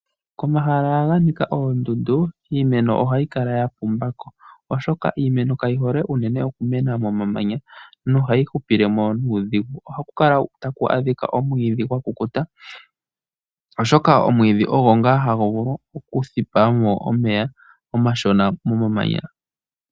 Komahala ga nika oondundu iimeno ohayi kala ya pumba ko. Oshoka iimeno kayi hole unene okumena momamanya nohayi hupile mo nuudhigu. Ohaku kala taku adhika omwiidhi gwa kukuta oshoka omwiidhi ogo ngaa hagu vulu okuthipa mo omeya omashona momamanya.